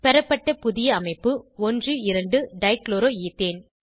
பெறப்பட்ட புதிய அமைப்பு 12 டைகுளோரோஈத்தேன்